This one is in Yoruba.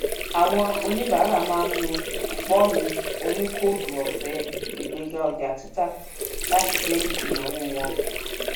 àwọn oníbara má n ló kupọnù onì kóódù ofe ìgbéga ọjà títà láti dín ìnáwó wọn kù